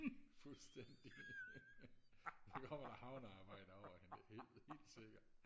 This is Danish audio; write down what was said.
fuldstændig så kommer der havnearbejder over hende det helt helt sikkert